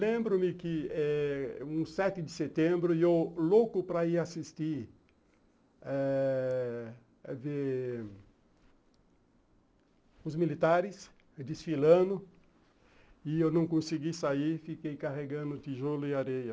Lembro-me que eh um sete de setembro, eu louco para ir assistir eh ver os militares desfilando, e eu não consegui sair, fiquei carregando tijolo e areia.